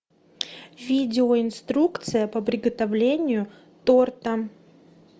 видео инструкция по приготовлению торта